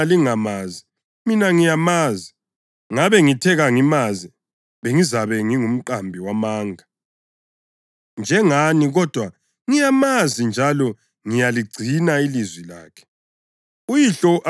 Lanxa lina lingamazi, mina ngiyamazi. Ngabe ngithe kangimazi, bengizabe ngingumqambi wamanga njengani kodwa ngiyamazi njalo ngiyaligcina ilizwi lakhe.